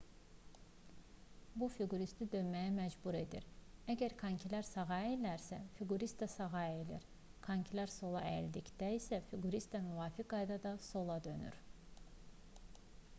bu fiquristi dönməyə məcbur edir əgər konkilər sağa əyilirsə fiqurist də sağa əyilir konkilər sola əyildikdə isə fiqurist də müvafiq qaydada sola dönür